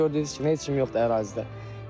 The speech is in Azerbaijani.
İndi isə bax gördüyünüz kimi heç kim yoxdur ərazidə.